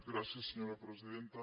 gràcies senyora presidenta